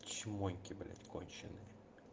чмойки блядь конченые